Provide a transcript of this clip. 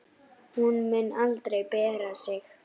Hún mun aldrei bera sig.